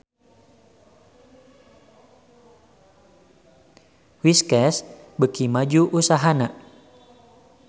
Whiskas beuki maju usahana